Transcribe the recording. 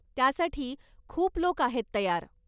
त्यासाठी खूप लोक आहेत तयार.